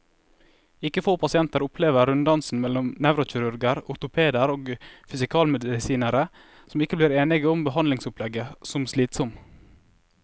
Ikke få pasienter opplever runddansen mellom nevrokirurger, ortopeder og fysikalmedisinere, som ikke blir enige om behandlingsopplegget, som slitsom.